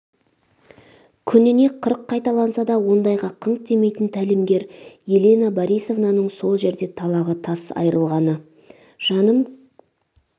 күніне қырық қайталанса да ондайға қыңқ демейтн тәлімгер елена борисовнаның сол жерде талағы тарс айырылғаны жаным